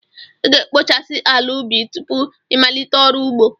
Ị ga-ekpochasị ala ubi tupu ịmalite ọrụ ugbo.